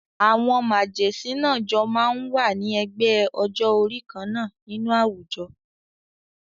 Àwọn màgẹ̀sín náà jọ máa ń wà ní ẹgbẹ́ ọjọ́-orí kan náà nínú àwùjọ.